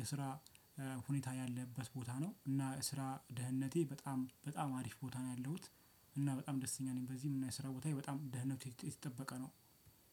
የስራ ሁኔታ ያለበት ቦታ ነው። እና ስራ ደህንነቴ በጣም በጣም አሪፍ ቦታ ነው ያለሁት እና በጣም ደስተኛ ነኝ። በዚህም የሙያ የስራ ቦታዬ በጣም ደህንነቱ የተጠበቀ ነው።